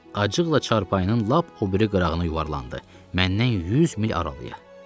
Acıqla çarpayının lap o biri qırağına yuvarlandı, məndən 100 mil aralıya.